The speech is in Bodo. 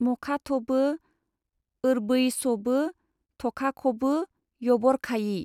मखाथबो ओरबैसबो थखाखबो यबरखायि-!